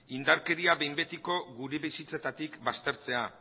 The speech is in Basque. indarkeria behin betiko gure bizitzetatik baztertzea